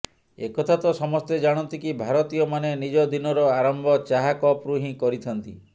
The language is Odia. ଏକଥା ତ ସମସ୍ତେ ଜାଣନ୍ତି କି ଭାରତୀୟ ମାନେ ନିଜ ଦିନର ଆରମ୍ଭ ଚାହା କପରୁ ହିଁ କରିଥାନ୍ତି